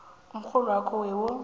umrholwakho we wo